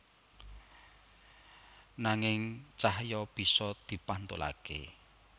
Nanging cahya bisa dipantulaké